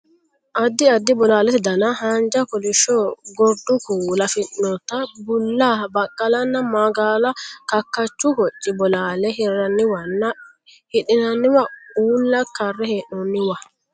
Addi addi bolaalete dana: haanja, kolishsho, gordu kuula afidhinota, bulla, baqqalana magaala kakkachu hocci bolaalla hirranniwanna hidhinanniwa uulla karre hee'noonniwa.